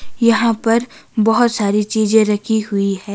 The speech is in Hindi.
यहां पर बहोत सारी चीजें रखी हुई है।